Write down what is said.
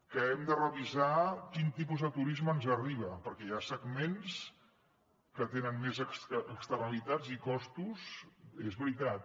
que hem de revisar quin tipus de turisme ens arriba perquè hi ha segments que tenen més externalitats i costos és veritat